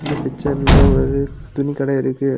பிச்சர்ல ஒரு துணிக்கடை இருக்கு.